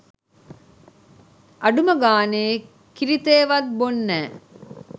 අඩුම ගානේ කිරිතේ වත් බොන්නැ